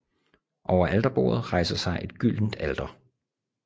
Over alterbordet rejser sig et gyldent alter